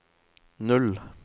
null